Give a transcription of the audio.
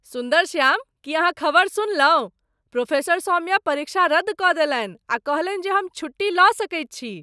सुन्दरश्याम, की अहाँ खबरि सुनलहुँ? प्रोफेसर सौम्या परीक्षा रद्द कऽ देलनि आ कहलनि जे हम छुट्टी लऽ सकैत छी!